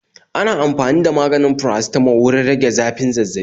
Ana amfani da maganin paracetamol wurin rage zafin Zazzabi